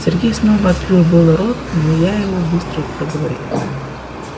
сергей снова открыл было рот но я быстро проговорила